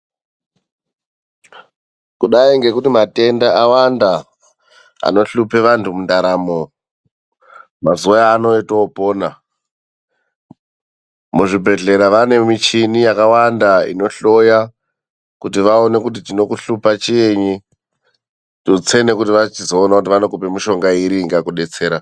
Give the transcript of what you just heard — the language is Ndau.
Kudai ngekuti matenda awanda anohlupe vantu mundaramo mazuwa ano etoopona. Muzvibhedhlera vane michini yakawanda inohloya kuti vaone kuti chinokuhlupa chiinyi, tutse nekuti vachizoona kuti vanokupe mishonga iri inokudetsera.